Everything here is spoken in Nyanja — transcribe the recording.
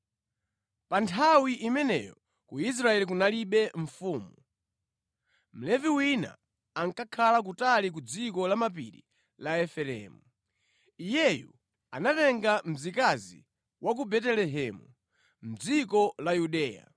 Pa nthawi imeneyo ku Israeli kunalibe mfumu. Mlevi wina ankakhala kutali ku dziko lamapiri la Efereimu. Iyeyu anatenga mzikazi wa ku Betelehemu, mʼdziko la Yuda.